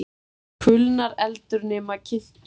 Kulnar eldur nema kyntur sé.